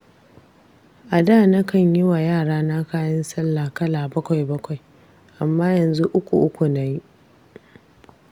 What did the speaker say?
A da nakan yi wa yarana kayan sallah kala bakwai-bakwai, amma yanzu uku-uku na yi.